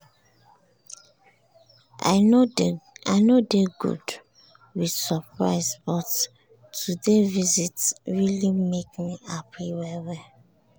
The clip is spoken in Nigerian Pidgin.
i nor dey good with surprise but today visit really make me happy well well.